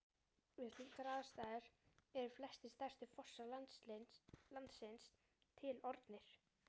Við slíkar aðstæður eru flestir stærstu fossar landsins til orðnir.